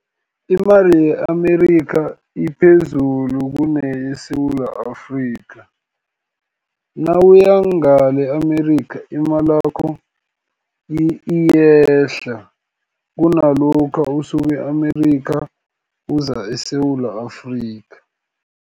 Imali ye-Amerikha iphezulu kuneyeSewula Afrika. Nawuya ngale e-Amerika imalakho iyehla kunalokha usuke e-Amerikha, uza eSewula Afrika.